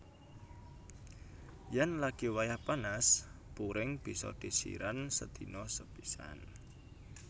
Yen lagi wayah panas puring bisa disiran sedina sepisan